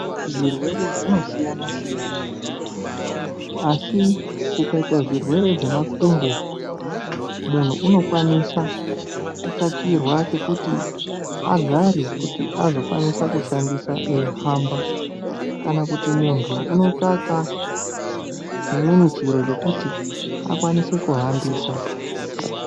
Zvirwere zvinosiyana-siyana, asi kukaita zvirwere zvemakumbo, munhu unokwanisa kutsvakirwa chekuti agare kuti azokwanisa kushandisa eyihamba, Kana kuti muntu unotsvaka chimweni chiro chekuti akwanise kuhambisa.